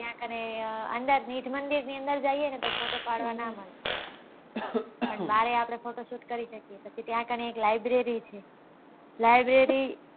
ત્યાં કને અંદર બ્રીજ મંદિર ની અંદર જઈએ તો photo પાડવા નાં મળે પણ ત્યાં બાર photoshoot કરી શકીએ પછી ત્યાં કને એક library છે library